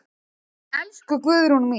Elsku Guðrún mín.